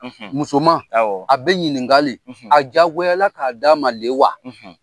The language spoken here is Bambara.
Musoman; Awɔ; A bɛ ɲinigale; A jagoyala k'a d'a ma le wa?